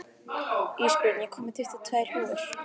Ísbjörn, ég kom með tuttugu og tvær húfur!